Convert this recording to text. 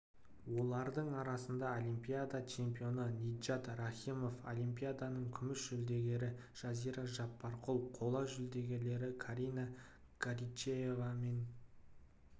олардың арасында олимпиада чемпионы ниджат рахимов олимпиаданың күміс жүлдегері жазира жаппарқұл қола жүлдегерлер карина горичева мен